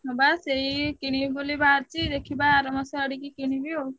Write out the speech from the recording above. ହଁ ବା ସେଇ କିଣିବି ବୋଲି ବାହାରିଛି ଦେଖିବା ଆରମାସ ଆଡିକି କିଣିବି ଆଉ।